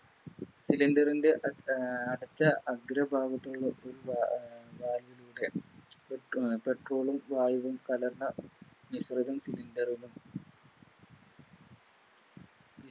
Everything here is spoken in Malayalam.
Cylinder ൻറെ അ അഹ് അറ്റ അഗ്ര ഭാഗത്തുള്ള ള്ള ഒരു വാ Valve ലൂടെ Petrol ഉം വായുവും കലർന്ന മിശ്രിതം Cylinder നും